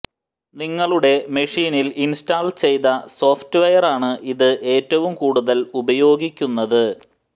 നിങ്ങളുടെ മെഷീനിൽ ഇൻസ്റ്റാൾ ചെയ്ത സോഫ്റ്റ്വെയറാണ് ഇത് ഏറ്റവും കൂടുതൽ ഉപയോഗിക്കുന്നത്